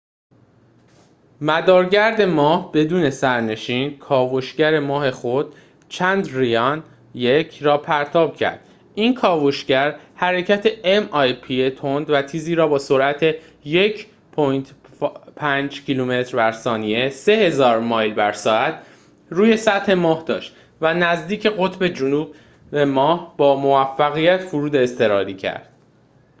مدارگرد ماه بدون سرنشین chandrayaan-1 کاوش‌گر ماه خود mip را پرتاب کرد؛ این کاوش‌گر حرکت تند و تیزی را با سرعت 1.5 کیلومتر بر ثانیه 3000 مایل بر ساعت روی سطح ماه داشت و نزدیک قطب جنوب ماه با موفقیت فرود اضطراری کرد